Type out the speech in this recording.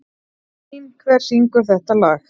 Lín, hver syngur þetta lag?